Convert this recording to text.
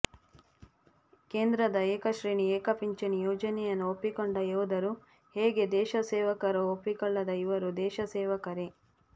ಕೇಂದ್ರದ ಏಕಶ್ರೇಣಿ ಏಕಪಿಂಚಣಿ ಯೋಜನೆಯನ್ನು ಒಪ್ಪಿಕೊಂಡ ಯೋಧರು ಹೇಗೆ ದೇಶ ಸೇವಕರೋ ಒಪ್ಪಿಕೊಳ್ಳದ ಇವರೂ ದೇಶಸೇವಕರೇ